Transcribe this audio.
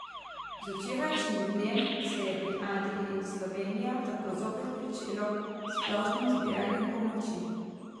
Z včerajšnjim dnem se je pri Adri Slovenija tako zopet pričelo z splošnim zbiranjem pomoči.